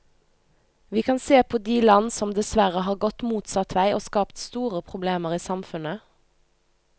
Vi kan se på de land som dessverre har gått motsatt vei og skapt store problemer i samfunnet.